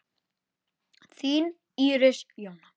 Þín Íris Jóna.